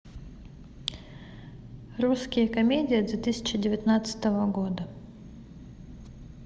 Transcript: русские комедии две тысячи девятнадцатого года